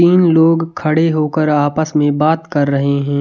तीन लोग खड़े हो कर आपस में बात कर रहे हैं।